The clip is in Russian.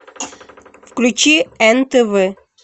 включи нтв